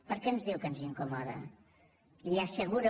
per què diu que ens incomoda li asseguro